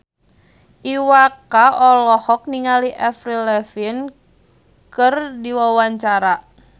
Iwa K olohok ningali Avril Lavigne keur diwawancara